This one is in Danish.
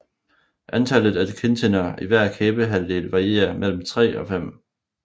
Antallet af kindtænder i hver kæbehalvdel varierer mellem 3 og 5